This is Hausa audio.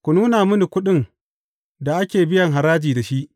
Ku nuna mini kuɗin da ake biyan haraji da shi.